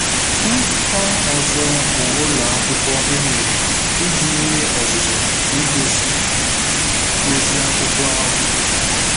Nzukọ ọzọ bụ ụlọ akwụkwọ e mere iji nye ọzụzụ n'igosi ozi akwụkwọ ahụ.